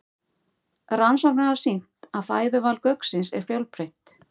Rannsóknir hafa sýnt að fæðuval gauksins er fjölbreytt.